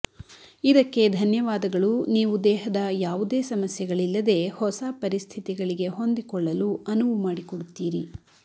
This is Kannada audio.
ಇದಕ್ಕೆ ಧನ್ಯವಾದಗಳು ನೀವು ದೇಹದ ಯಾವುದೇ ಸಮಸ್ಯೆಗಳಿಲ್ಲದೆ ಹೊಸ ಪರಿಸ್ಥಿತಿಗಳಿಗೆ ಹೊಂದಿಕೊಳ್ಳಲು ಅನುವು ಮಾಡಿಕೊಡುತ್ತೀರಿ